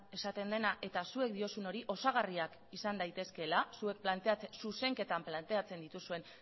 esaten dena eta zuek diozuen hori osagarriak izan daitezkeela zuek zuzenketan planteatzen dituzuen